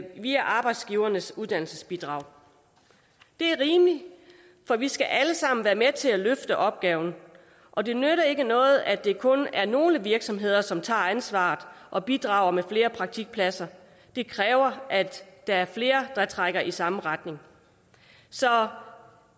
via arbejdsgivernes uddannelsesbidrag det er rimeligt for vi skal alle sammen være med til at løfte opgaven og det nytter ikke noget at det kun er nogle virksomheder som tager ansvaret og bidrager med flere praktikpladser det kræver at der er flere der trækker i samme retning så